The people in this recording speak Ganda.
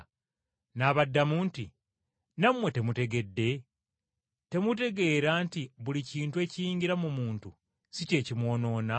N’abaddamu nti, “Nammwe temutegedde? Temutegeera nti buli kintu ekiyingira mu muntu si kye kimwonoona?